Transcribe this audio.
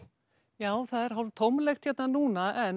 já það er tómlegt núna en